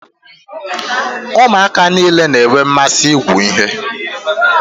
Ụmụaka niile n'enwe mmasị ịgụ ihe.